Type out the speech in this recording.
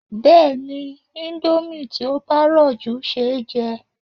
Bẹ́ẹ̀ni, indomie tí ó bá rọ̀ jù ṣeéjẹ